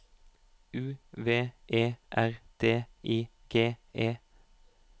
U V E R D I G E